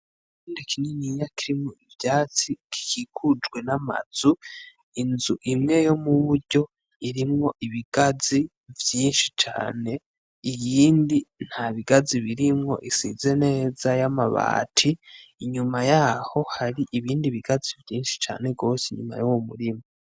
Ikibanza kininiya kirimwo ivyatsi gikikujwe n'amazu, inzu imwe yo mu buryo irimwo ibigazi vyinshi cane, iyindi nta bigazi birimwo, isize neza y'amabara n'amabati, inyuma yaho hari ibindi bigazi vyinshi cane gose inyuma yo mu murima.